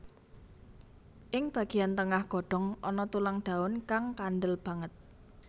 Ing bagéyan tengah godhong ana tulang daun kang kandel banget